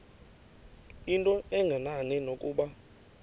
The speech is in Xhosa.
into engenani nokuba